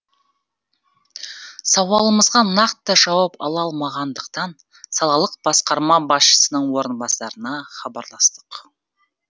сауалымызға нақты жауап ала алмағандықтан салалық басқарма басшысының орынбасарына хабарластық